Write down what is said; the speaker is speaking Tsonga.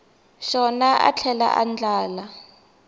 xona a tlhela a andlala